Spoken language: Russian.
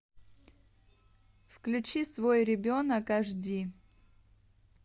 включи свой ребенок аш ди